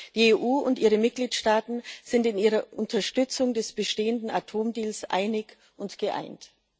Die EU und ihre Mitgliedstaaten sind in ihrer Unterstützung des bestehenden Atomdeals einig und geeint.